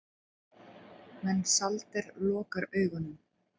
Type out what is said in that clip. Mensalder lokar augunum.